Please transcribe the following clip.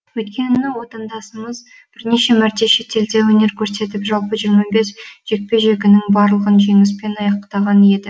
бірнеше мәрте елде өнер көрсетіп жалпы жиырма бес жекпе жегінің барлығын жеңіскпен аяқтаған еді